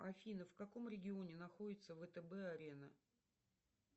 афина в каком регионе находится втб арена